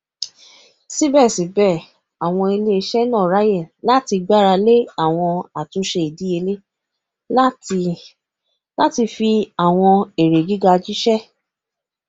síbẹsíbẹ àwọn iléiṣẹ náà ráàyè láti gbáralé àwọn àtúnṣe ìdíyelé láti láti fi àwọn èrè gíga jíṣẹ